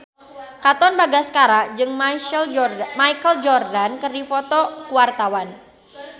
Katon Bagaskara jeung Michael Jordan keur dipoto ku wartawan